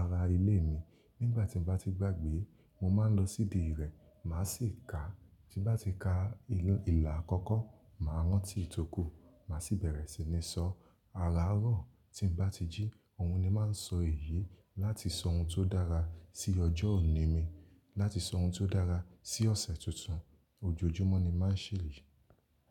ara ilé mi. Nígbà tí mo bá ti gbàgbé, mo máa n lọ sí ìdí rẹ̀, màá sì ká. Tí n bá ti ka inu ìlà àkọ́kọ́, màá rántí ìtókù, màá sì bẹ̀rẹ̀ sí ní sọ ara ọ̀rọ̀. Tí mo bá ti jí, òhun ni máa ń sọ èyí láti sọ ohun tó dára sí ọjọ́ òní mi, láti sọ ohun tó dára sí ọ̀sẹ̀ tuntun. Ojoojúmọ́ ni màá ṣe èyíi.